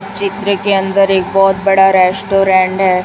इस चित्र के अंदर एक बहुत बड़ा रेस्टोरेंट है।